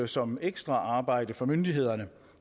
som ekstraarbejde for myndighederne